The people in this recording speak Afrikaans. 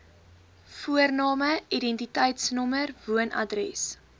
voorname identiteitsnommer woonadres